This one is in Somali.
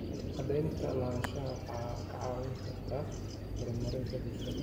Cadaynta lahaanshaha waxay kaa caawin kartaa horumarinta bulshada.